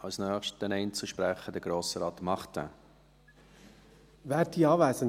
Als Nächstes der Einzelsprecher Grossrat Martin.